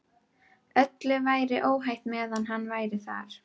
Öllu væri óhætt meðan hann var þar.